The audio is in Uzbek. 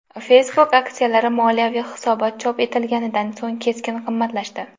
Facebook aksiyalari moliyaviy hisobot chop etilganidan so‘ng keskin qimmatlashdi.